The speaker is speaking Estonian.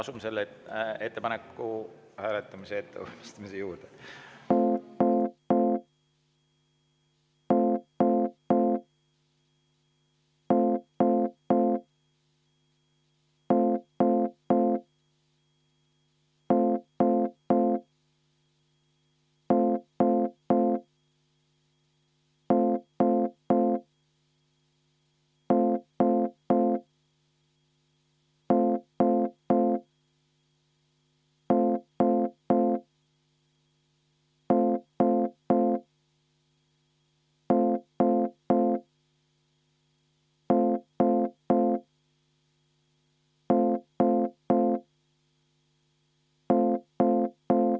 Asume selle ettepaneku hääletamise ettevalmistamise juurde.